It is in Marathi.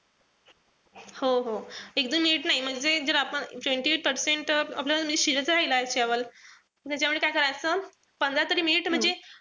हो-हो एक-दोन minute नाई. म्हणजे जर आपण जर twenty eight percent शिजायचा राहिलाय म्हणजे त्याच्यामुळे काय करायचं पंधरा तरी minute म्हणजे,